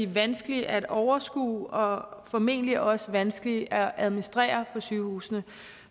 vanskelig at overskue og formentlig også vanskelig at administrere for sygehusene